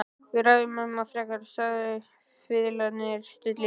Við ræðum það ekki frekar, sagði fiðlarinn stillilega.